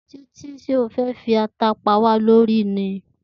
Títí, s̩é o fé̩ fi ata pá wa lórí ni?